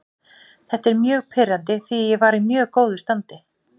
Þetta er mjög pirrandi því ég var í mjög góðu standi.